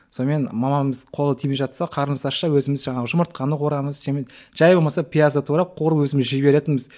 сонымен мамамыз қолы тимей жатса қарнымыз ашса өзіміз жаңағы жұмыртқаны қуырамыз жай болмаса пиязды турап қуырып өзіміз жей беретінбіз